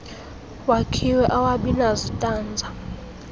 wakhiwe awabi nazitanza